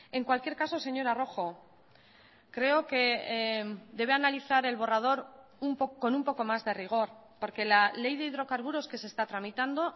en cualquier caso señora rojo creo que debe analizar el borrador con un poco más de rigor porque la ley de hidrocarburos que se está tramitando